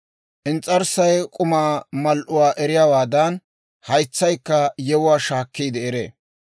Ins's'arssay k'umaa mal"uwaa eriyaawaadan, haytsaykka yewuwaa shaakkiide eree.